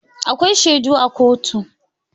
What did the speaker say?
Akwai shaidu a kotu.